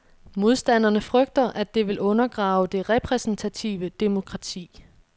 Modstanderne frygter, at det vil undergrave det repræsentative demokrati.